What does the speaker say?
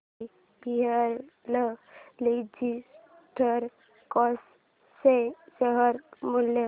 VRL Logistics चे share मूल्य